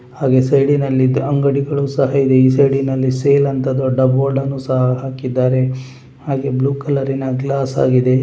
ಹಾಗೆ ಸೈಡಿ ನಲ್ಲಿ ಇದ್ದ ಅಂಗಡಿಗಳು ಸಹ ಇದೆ ಈ ಸೈಡಿ ನಲ್ಲಿ ಸೇಲ್ ಅಂತ ದೊಡ್ಡ ಬೋರ್ಡ ನ್ನು ಸಹ ಹಾಕಿದ್ದಾರೆ ಅದು ಬ್ಲೂ ಕಲರ್ ನ ಗ್ಲಾಸ್ ಆಗಿದೆ.